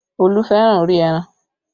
Olú fẹ́ràn orí ẹran